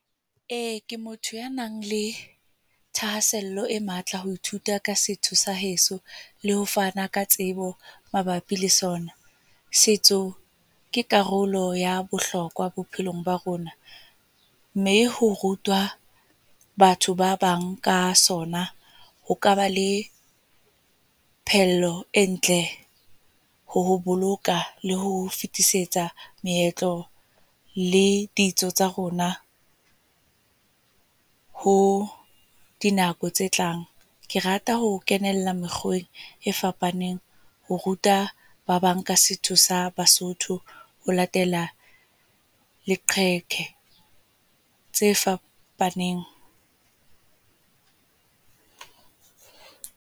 Ee ke motho ya nang le thahasello e matla ho ithuta ka setho sa heso, le ho fana ka tsebo mabapi le sona. Setso, ke karolo ya bohlokwa bophelong ba rona. Mme ho rutwa batho ba bang ka sona, ho kaba le e ntle, ho boloka, le ho fetisetsa meetlo le ditso tsa rona ho dinako tse tlang. Ke rata ho kenella mokgweng e fapaneng ho ruta ba bang ka setso sa Basotho. Ho latela leqheke tse fapaneng.